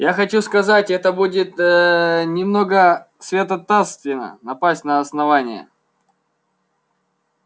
я хочу сказать это будет ээ немного святотатственно напасть на основание